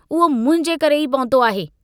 उहो मुंहिंजे करे ई पहुतो आहे।